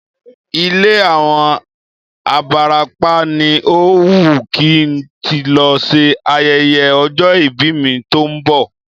Ilé àwọn abarapá ni ó wùn kí n tí lọ ṣe ayẹyẹ ọjọ́ ìbí mi tó ń bọ̀